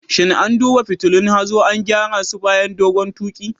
Shin an duba fitulun hazo an gyara su bayan dogon tuƙi?